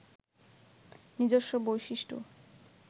নিজস্ব বৈশিষ্ট্য